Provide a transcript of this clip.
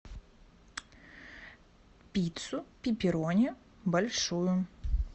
пиццу пепперони большую